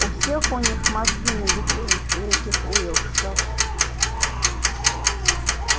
у всех у них мозги набекрень у этих уилксов